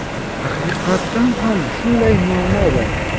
Haqiqatan ham shunday muammo bor.